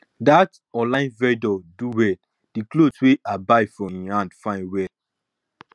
that online vendor do well the cloth wey i buy for him hand fine well